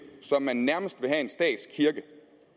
så man nærmest vil have en statskirke